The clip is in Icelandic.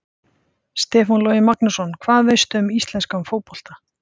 Stefán Logi Magnússon Hvað veistu um íslenska fótbolta?